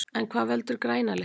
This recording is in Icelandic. En hvað veldur græna litnum?